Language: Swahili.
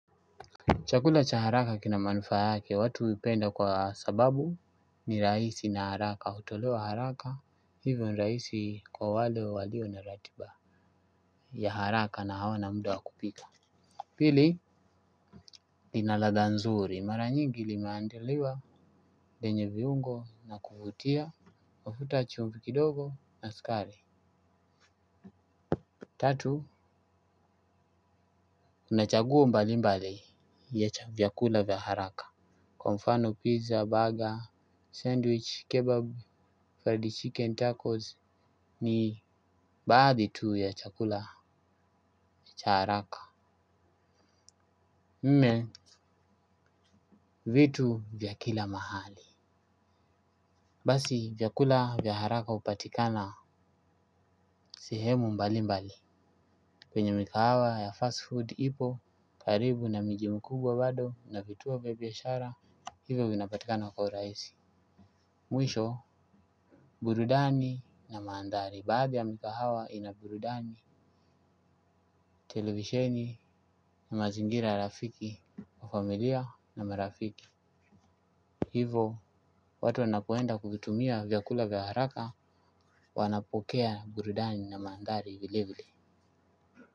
Chakula cha haraka kina manufaa yake, watu huipenda kwa sababu ni raisi na haraka, hutolewa haraka, hivyo ni raisi kwa wale wa walio na ratiba ya haraka na hawana muda wa kupika. Pili, linaladha nzuri, mara nyingi limaandiliwa yenye viungo na kuvutia, mafuta chumvi kidogo na sukari. Tatu, unachaguo mbali mbali ya chakula vya haraka. Kwa mfano pizza, burger, sandwich, kebab, fried chicken, tacos ni baadhi tu ya chakula cha haraka Mme Vitu vya kila mahali. Basi vyakula vya haraka upatikana sehemu mbali mbali. Kwenye mikahawa ya fast food ipo karibu na miji mkubwa bado na vituo vya biashara. Hivyo vinapatikana kwa uraisi. Mwisho burudani na maandhari baadhi ya mikahawa inaburudani. Televisheni na mazingira rafiki, wa familia na marafiki. Hivo, watu wanakuenda kutumia vyakula vya haraka. Wanapokea burudani na mandhari vilevile.